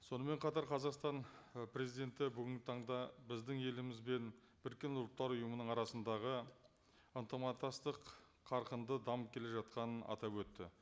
сонымен қатар қазақстан ы президенті бүгінгі таңда біздің еліміз бен біріккен ұлттар ұйымының арасындағы ынтымақтастық қарқынды дамып келе жатқанын атап өтті